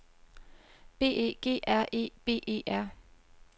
B E G R E B E R